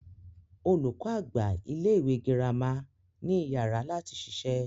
Olùkọ àgbà ilẹ ìwé gírámà ni iyàrá lati ṣiṣẹ́.